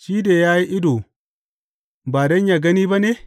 Shi da ya yi ido ba don yă gani ba ne?